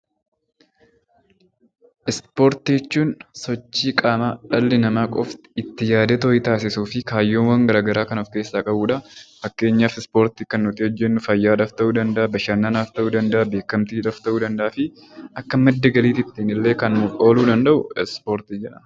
Ispoortii jechuun sochii dhalli namaa qofti taasisuu fi kaayyoowwan garaagaraa kan of keessaa qabudha. Fakkeenyaaf ispoortii kan nuti hojjannuu fayyaadhaaf ta'uu danda'a bashannanaaf, beekamtiidhaa fi Akka madda galiitti illee kan ooluu danda'udha